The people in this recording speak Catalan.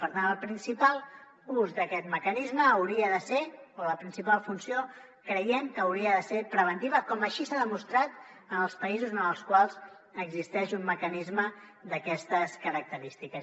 per tant la principal funció d’aquest mecanisme creiem que hauria de ser preventiva com així s’ha demostrat en els països en els quals existeix un mecanisme d’aquestes característiques